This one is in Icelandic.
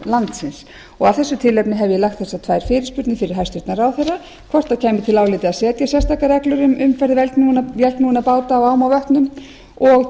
landsins af þessu tilefni hef ég lagt þessar tvær fyrirspurnir fyrir hæstvirtan ráðherra hvort til álita kæmi að setja sérstakar reglur um umferð vélknúinna báta á ám og vötnum og